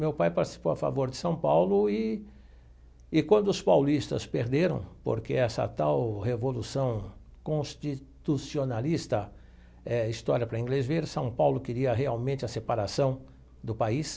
Meu pai participou a favor de São Paulo e e, quando os paulistas perderam, porque essa tal Revolução Constitucionalista, eh história para inglês ver, São Paulo queria realmente a separação do país.